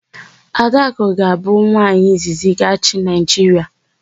Adakụ ga-abụ nwaanyị izizi ga-achị Naịjiria.